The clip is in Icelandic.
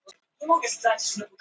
Tíundi hver fullorðinn of feitur